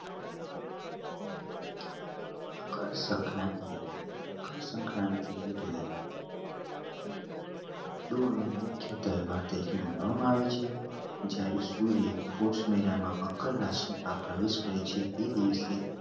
મકર સંક્રાંતિ મકર સંક્રાંતિ મુખ્ય તહેવાર માનવા માં આવે છે જ્યારે સૂર્ય કોષ મહિના માં મકર રાશી માં પ્રવેશ હોય છે એ દિવસે